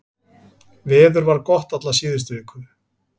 Veður var gott alla síðustu viku